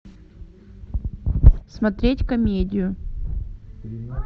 смотреть комедию